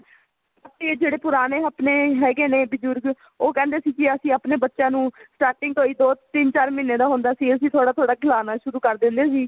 ਜਿਹੜੇ ਪੁਰਾਣੇ ਆਪਣੇ ਹੈਗੇ ਨੇ ਬਜੁਰਗ ਉਹ ਕਹਿੰਦੇ ਸੀ ਅਸੀਂ ਆਪਣੇ ਬੱਚਿਆਂ ਨੂੰ starting ਤੋਂ ਹੀ ਤਿੰਨ ਚਾਰ ਮਹੀਨੇ ਦਾ ਹੁੰਦਾ ਸੀ ਅਸੀਂ ਥੋੜਾ ਥੋੜਾ ਖਵਾਉਣਾ ਸ਼ੁਰੂ ਕਰ ਦਿੰਦੇ ਸੀ